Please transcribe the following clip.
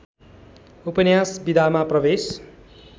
उपन्यास विधामा प्रवेश